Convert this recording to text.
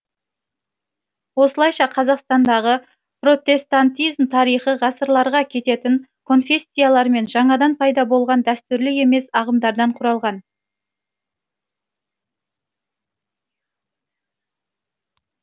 осылайша қазақстандағы протестантизм тарихы ғасырларға кететін конфессиялар мен жаңадан пайда болған дәстүрлі емес ағымдардан құралған